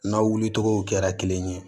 N'aw wulitogow kɛra kelen ye